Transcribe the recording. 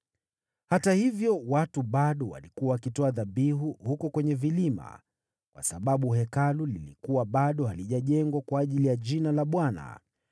Hata hivyo, watu bado walikuwa wakitoa dhabihu huko kwenye vilima, kwa sababu Hekalu lilikuwa bado halijajengwa kwa ajili ya Jina la Bwana .